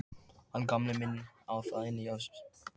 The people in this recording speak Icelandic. Hann Gamli minn á það inni hjá mér.